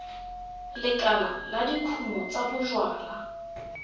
lekala la dikumo tsa bojalwa